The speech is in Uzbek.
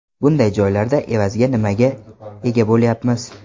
Bunday joylarda evaziga nimaga ega bo‘lyapmiz?